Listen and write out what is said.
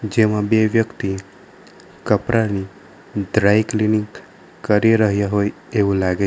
જેમાં બે વ્યક્તિ કપરાની દ્રાય ક્લીનિંગ કરી રહ્યા હોય એવું લાગે છે.